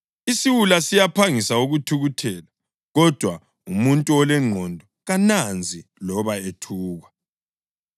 Isiwula siyaphangisa ukuthukuthela, kodwa umuntu olengqondo kananzi loba ethukwa.